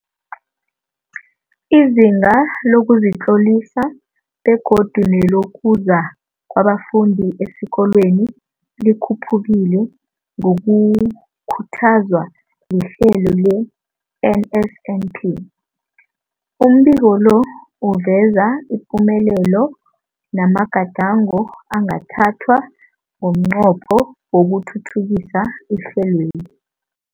Izinga lokuzitlolisa begodu nelokuza kwabafundi esikolweni likhuphukile ngokukhuthazwa lihlelo le-NSNP. Umbiko lo uveza ipumelelo namagadango angathathwa ngomnqopho wokuthuthukisa ihlelweli.